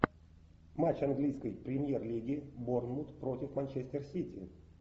матч английской премьер лиги борнмут против манчестер сити